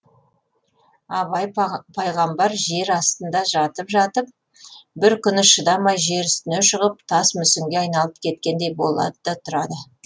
абай пайғамбар жер астында жатып жатып бір күні шыдамай жер үстіне шығып тас мүсінге айналып кеткендей болады да тұрады